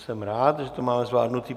Jsem rád, že to máme zvládnuto.